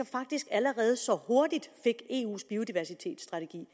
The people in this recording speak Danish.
faktisk allerede så hurtigt fik eus biodiversitetsstrategi